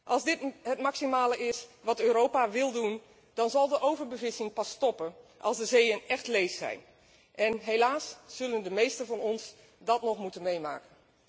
Als dit het maximale is wat Europa wil doen, dan zal de overbevissing pas stoppen als de zeeën echt leeg zijn, en helaas zullen de meesten van ons dat nog moeten meemaken.